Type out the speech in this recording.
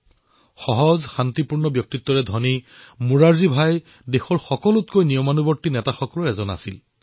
সহজ শান্তিপূৰ্ণ ব্যক্তিত্বৰ ধনী মোৰাৰজী ভাই দেশৰ সবাতোকৈ অনুশাসিত নেতাসমূহৰ ভিতৰত অন্যতম আছিল